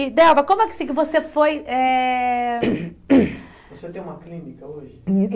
E, Delba, como é que se você foi eh hum hum... Você tem uma clínica hoje?